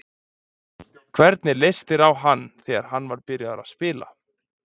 Hvernig leist þér á hann þegar hann var byrjaður að spila?